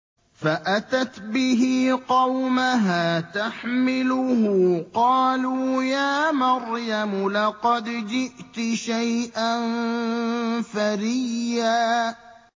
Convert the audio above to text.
فَأَتَتْ بِهِ قَوْمَهَا تَحْمِلُهُ ۖ قَالُوا يَا مَرْيَمُ لَقَدْ جِئْتِ شَيْئًا فَرِيًّا